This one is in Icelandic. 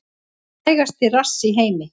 Frægasti rass í heimi